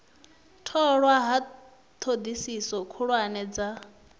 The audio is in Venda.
tholwa ha thodisiso khuhulwane dza